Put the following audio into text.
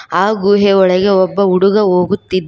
ಆ ಗುಹೆಯ ಬಳಿಗೆ ಒಬ್ಬ ಹುಡುಗ ಹೋಗುತ್ತಿದ್ದ--